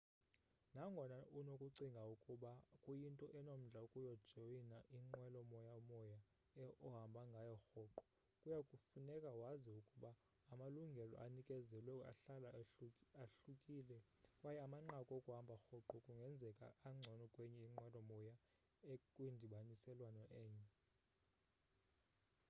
nangona unokucinga ukuba kuyinto enomdla ukujoyina inqwelo moya moya ohamba ngayo rhoqo kuya kufuneka wazi ukuba amalungelo anikezelwayo ahlala ahlukile kwaye amanqaku okuhamba rhoqo kungenzeka angcono kwenye inqwelo moya ekwindibaniselwano enye